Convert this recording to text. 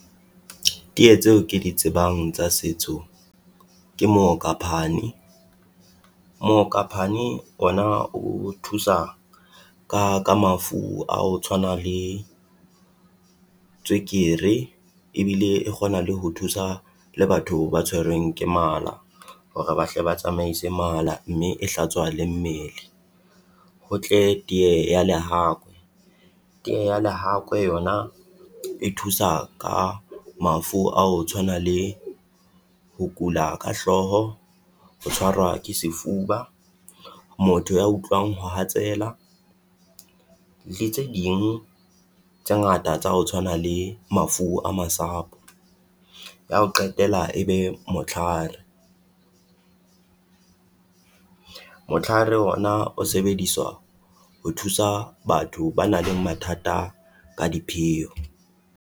Tee tseo ke di tsebang tsa setso ke mookaphane, mookaphane ona o thusa ka ka mafu a ho tshwana le tswekere ebile e kgona le ho thusa le batho ba tshwerweng ke mala. Hore bahle ba tsamaise mala mme e hlatswa le mmele, ho tle tee ya lehakwe, tee ya lehakwe yona e thusa ka mafu a ho tshwana le ho kula ka hlooho, ho tshwarwa ke sefuba, motho ya utlwang ho hatsela. Le tse ding tse ngata tsa ho tshwana le mafu a masapo. Ya ho qetela e be motlhare, motlare ona o sebediswa ho thusa batho ba nang le mathata ka dipheo.